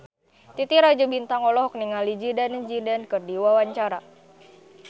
Titi Rajo Bintang olohok ningali Zidane Zidane keur diwawancara